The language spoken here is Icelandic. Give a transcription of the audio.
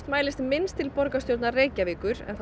mælist minnst til borgarstjórnar Reykjavíkur eða